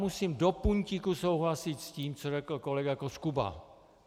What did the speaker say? Musím do puntíku souhlasit s tím, co řekl kolega Koskuba.